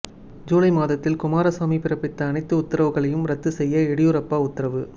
ஜூலை மாதத்தில் குமாரசாமி பிறப்பித்த அனைத்து உத்தரவுகளையும் ரத்து செய்ய எடியூரப்பா உத்தரவு